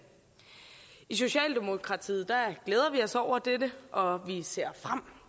i socialdemokratiet glæder vi os over dette og vi ser frem